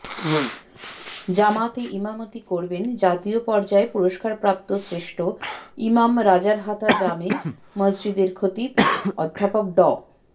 জামাতে ইমামতি করবেন জাতীয় পর্যায়ে পুরস্কারপ্রাপ্ত শ্রেষ্ঠ ইমাম রাজারহাতা জামে মসজিদের খতিব অধ্যাপক ড